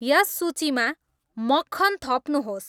यस सूचीमा मक्खन थप्नुहोस्